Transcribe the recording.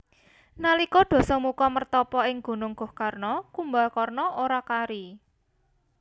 Nalika Dasamuka mertapa ing Gunung Gohkarna Kumbakarna ora kari